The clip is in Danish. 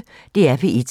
DR P1